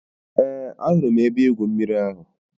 Eé, ahụrụ m ebe-igwụ mmiri ahụ.